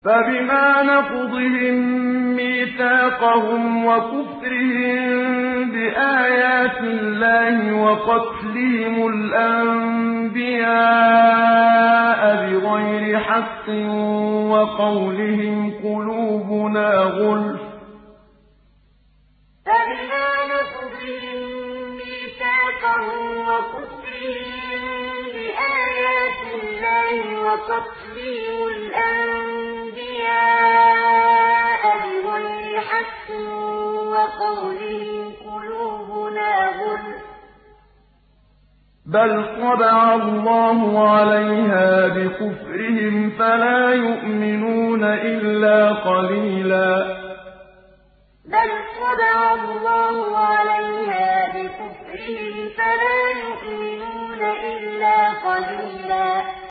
فَبِمَا نَقْضِهِم مِّيثَاقَهُمْ وَكُفْرِهِم بِآيَاتِ اللَّهِ وَقَتْلِهِمُ الْأَنبِيَاءَ بِغَيْرِ حَقٍّ وَقَوْلِهِمْ قُلُوبُنَا غُلْفٌ ۚ بَلْ طَبَعَ اللَّهُ عَلَيْهَا بِكُفْرِهِمْ فَلَا يُؤْمِنُونَ إِلَّا قَلِيلًا فَبِمَا نَقْضِهِم مِّيثَاقَهُمْ وَكُفْرِهِم بِآيَاتِ اللَّهِ وَقَتْلِهِمُ الْأَنبِيَاءَ بِغَيْرِ حَقٍّ وَقَوْلِهِمْ قُلُوبُنَا غُلْفٌ ۚ بَلْ طَبَعَ اللَّهُ عَلَيْهَا بِكُفْرِهِمْ فَلَا يُؤْمِنُونَ إِلَّا قَلِيلًا